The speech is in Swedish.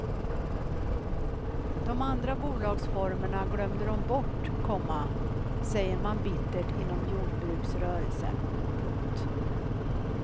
De andra bolagsformerna glömde de bort, komma säger man bittert inom jordbruksrörelsen. punkt